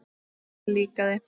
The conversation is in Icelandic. Það líkaði